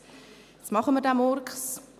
Jetzt machen wir diesen Murks.